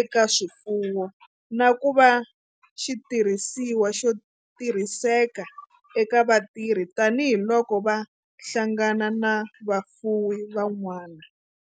eka swifuwo, na ku va xitirhisiwa xo tirhiseka eka vatirhi tani hi loko va hlangana na vafuwi van'wana.